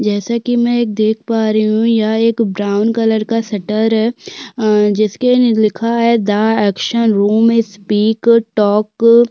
जैसे कि मैं देख पा रही हूं यहाँ पर एक ब्राउन कलर का शटर है अअअ जिसके अंदर लिखा है the action room is speak a talk --